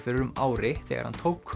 fyrir um ári þegar hann tók